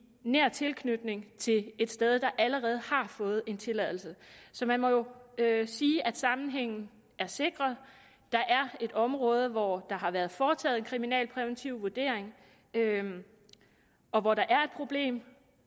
nær tilknytning til et sted der allerede har fået en tilladelse så man må sige at sammenhængen er sikret der er et område hvor der har været foretaget en kriminalpræventiv vurdering og hvor der er et problem